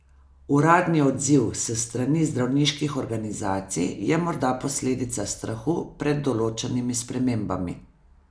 Uradni odziv s strani zdravniških organizacij je morda posledica strahu pred določenimi spremembami.